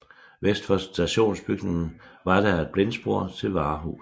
Vest for stationsbygningen var der et blindspor til varehuset